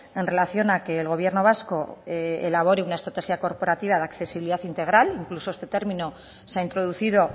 en relación a que el gobierno vasco elabore una estrategia corporativa de accesibilidad integral incluso este término se ha introducido